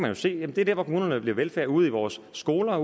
jo se det er der hvor kommunerne leverer velfærd ude i vores skoler